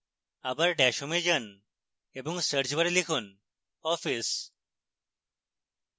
bar dash home এ যান এবং search bar লিখুন office